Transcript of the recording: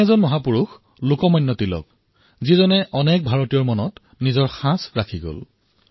এনেকুৱা এজন মহাপুৰুষ আছিল লোকমান্য তিলক যিয়ে অনেক ভাৰতীয়ৰ মনত নিজৰ ছাপ এৰি থৈ গৈছিল